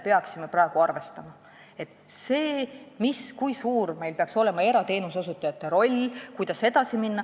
Peame mõtlema, kui suur peaks meil olema erateenuse osutajate roll ja kuidas edasi minna.